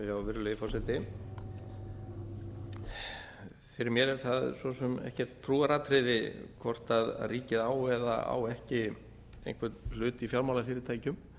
virðulegi forseti fyrir mér er það svo sem ekkert trúaratriði hvort ríkið á eða á ekki einhvern hlut í fjármálafyrirtækjum